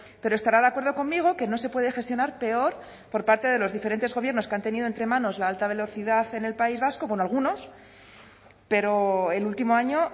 pero estará de acuerdo conmigo que no se puede gestionar peor por parte de los diferentes gobiernos que han tenido entre manos la alta velocidad en el país vasco bueno algunos pero el último año